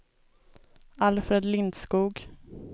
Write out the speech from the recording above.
Alfred Lindskog